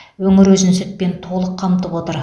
өңір өзін сүтпен толық қамтып отыр